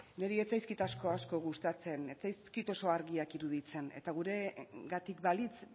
niri ez zaizkit asko asko gustatzen ez zaizkit oso argiak iruditzen eta guregatik balitz